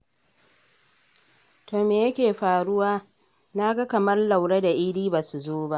To me yake faruwa na ga kamar Laure da Idi ba su zo ba?